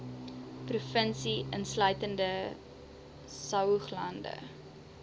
provinsie insluitende saoglande